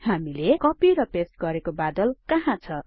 हामीले कपि र पेस्ट गरेको बादल कहाँ छ